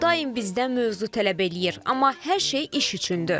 Daim bizdən mövzu tələb eləyir, amma hər şey iş üçündür.